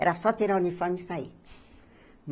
Era só tirar o uniforme e sair.